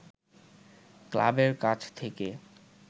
ক্লাবের কাছ থেকে